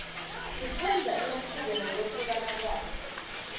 sifundza emasiko ngekuhluka kwawo